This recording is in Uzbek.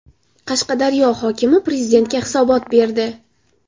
Qashqadaryo hokimi Prezidentga hisobot berdi.